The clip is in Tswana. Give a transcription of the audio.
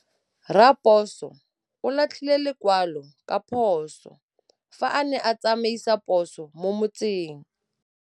Raposo o latlhie lekwalô ka phosô fa a ne a tsamaisa poso mo motseng.